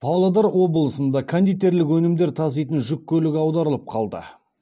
павлодар облысында кондитерлік өнімдер таситын жүк көлігі аударылып қалды